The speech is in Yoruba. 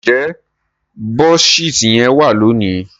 nje Buddhist yén wa loni?